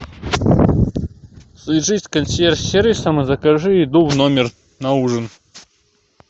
свяжись с консьерж сервисом и закажи еду в номер на ужин